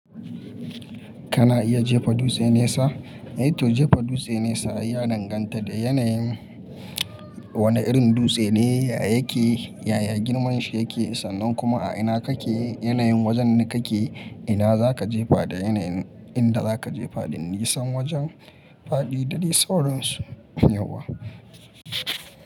Kana iya jefa dutse nesa? Eh to, jefa dutse nesa ya danganta da yanayin wane irin dutse ne yake, yaya girman shi yake sannan kuma a ina kake, yanayin wajen da kake, ina za ka jefa da yanayin inda za ka jefa, dan nisan wajen faɗi da risa wurin su.